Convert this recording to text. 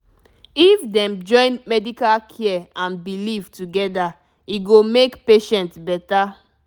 if dem join medical care and belief together e go make patient better